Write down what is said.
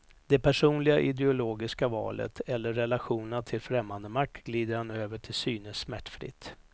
Det personliga ideologiska valet eller relationerna till främmande makt glider han över till synes smärtfritt.